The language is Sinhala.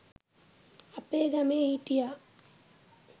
අපේ ගමේ හිටියා